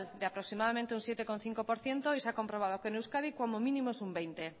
de aproximadamente un siete coma cinco por ciento y se ha comprobado que en euskadi como mínimo es un veinte